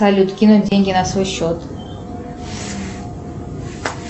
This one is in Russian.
салют кинуть деньги на свой счет